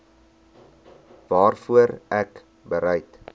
waarvoor ek bereid